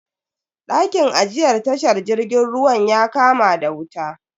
Dakin ajiyar tashar jirgin ruwan ya kama da wuta.